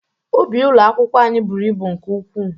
Ubi ụlọ akwụkwọ anyị bụrụ ịbụ nke ukwu.